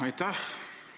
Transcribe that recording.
Aitäh!